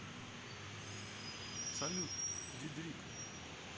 салют дидрик